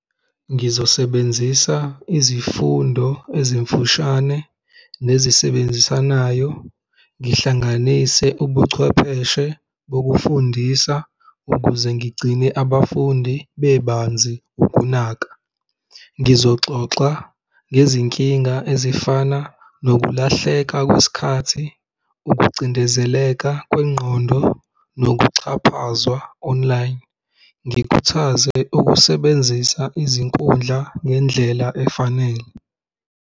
Ngizosebenzisa izifundo ezimfushane nezisebenzisanayo, ngihlanganise ubuchwepheshe bokufundisa ukuze ngigcine abafundi bebanzi ukunaka. Ngizoxoxa ngezinkinga ezifana nokulahleka kwesikhathi, ukucindezeleka kwengqondo nokuxhaphazwa online. Ngikhuthaze ukusebenzisa izinkundla ngendlela efanele.